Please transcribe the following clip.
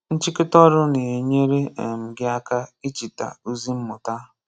Nchịkọta ọrụ na-enyere um gị aka icheta ozi mmụta.